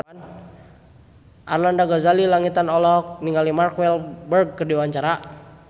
Arlanda Ghazali Langitan olohok ningali Mark Walberg keur diwawancara